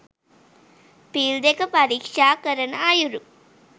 පිල් දෙක පරීක්‍ෂා කරන අයුරු